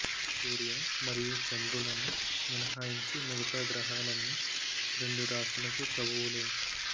సూర్య మరియు చంద్రులను మినహాయించి మిగతా గ్రహాలన్నీ రెండు రాశులకు ప్రభువులే